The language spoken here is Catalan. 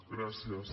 gràcies